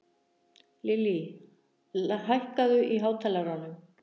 Lily, hækkaðu í hátalaranum.